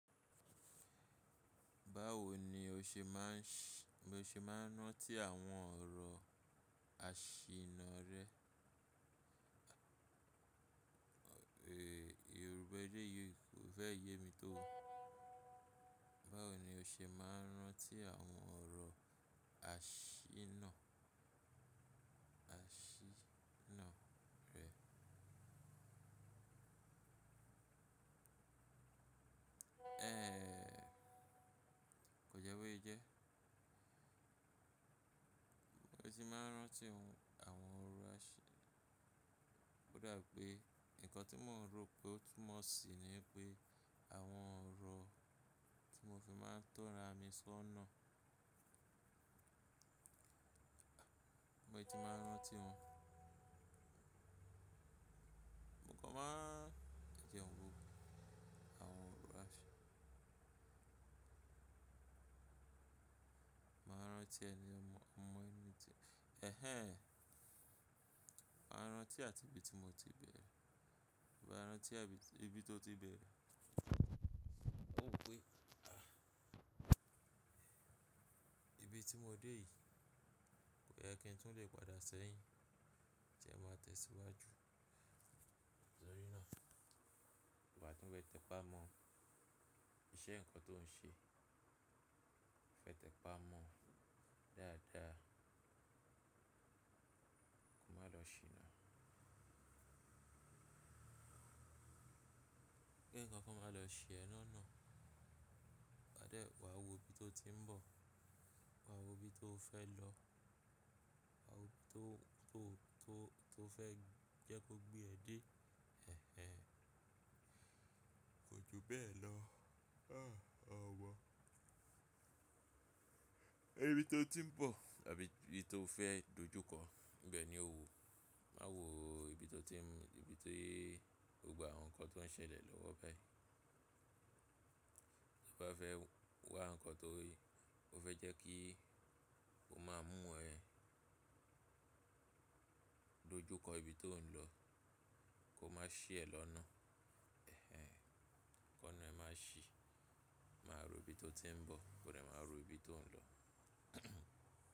Báwo ni o ṣe máa ń rántí àwọn ọ̀rọ̀ àṣìná rẹ? Yorùbá yii o fẹ yé mi to. Báwo ni o ṣe máa ń rántí àwọn ọ̀rọ̀ àṣìná rẹ? Ehn, ko jẹ́ bó ṣe jẹ́. Mo ti máa ń rántí àwọn ọ̀rọ̀ àṣì-- kódà pé nǹkan tí mò ń ro pé ó tún mọ́ sí ni pé àwọn ọ̀rọ̀ tí mo fi máa ń tọra mi sọ́ náà. Mo ti máa ń rántí wọn. Ìkàn máa ń jẹ́ ń wo àwọn ọ̀rọ̀ àṣì-- màá rántí ẹni mọ, mo mọ ẹni tí-- ehén. Máa rántí àti ibi tí mo ti bẹ̀rẹ̀. Wa rántí ibi tó ti bẹ̀rẹ̀. Ó pé, ibi tí mo dé yìí kò yẹ kí n tún lè padà sẹ́yìn tí ẹ máa tẹ̀síwájú tórí náà. Wá tún fẹ tẹpá mọ iṣẹ́ nǹkan tó ń ṣe. Fẹ́ tẹpá mọ dáadáa. Ko má lọ ṣìná. Kí nǹkan kan máa lọ ṣí ẹ lọ́nà. Wà dé-- wà wọ ibi tó ti ń bọ̀. Wà wọ ibi tó fẹ́ lọ. Wà wọ ibi tó fẹ́ jẹ́ kó gbé ẹ dé. Ehén, kò jù bẹ́ẹ̀ lọ. Ah, omọ. Ibi tó ti ń bọ̀ àbí ibi tó fẹ́ dojúkọ, ibẹ̀ ni ó wọ. Má wọ ibi tó ti ń, ibi tii-- gbogbo awon nǹkan tó ń ṣẹlẹ̀ lọ́wọ́ bai. Tí o bá fẹ́ wá nǹkan tó, o fẹ́ jẹ́ kí o máa mú ẹ̀ dojúkọ ibi tó ń lọ, kò má ṣí ẹ lọ́nà. Ehén, ki óna ẹ máa ṣi. Máa ro ibi tó ti ń bọ̀, kó dẹ máa ro ibi tó ń lọ.